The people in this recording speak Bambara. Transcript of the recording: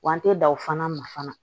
Wa an tɛ dan o fana ma fana